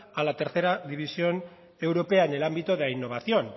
a la tercera división europea en el ámbito de la innovación